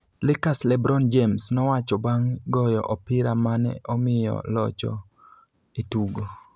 Lakers Lebron James nowacho bang' goyo opira mane omiyo locho e tugo